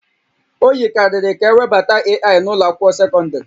O yikarịrị ka ewebata AI n'ụlọ akwụkwọ sekọndrị